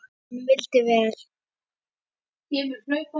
Hann vildi vel.